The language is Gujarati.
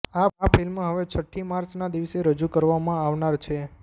આ ફિલ્મ હવે છટ્ઠી માર્ચના દિવસે રજૂ કરવામાં આવનાર છે